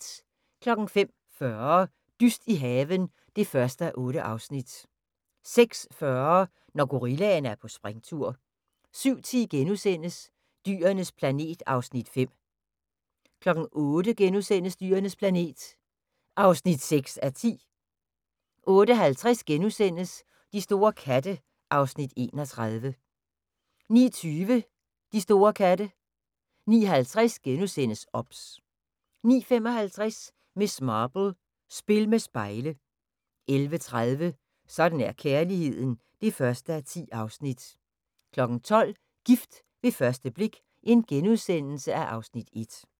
05:40: Dyst i haven (1:8) 06:40: Når gorillaen er på springtur 07:10: Dyrenes planet (Afs. 5)* 08:00: Dyrenes planet (6:10)* 08:50: De store katte (Afs. 31)* 09:20: De store katte 09:50: OBS * 09:55: Miss Marple: Spil med spejle 11:30: Sådan er kærligheden (1:10) 12:00: Gift ved første blik (Afs. 1)*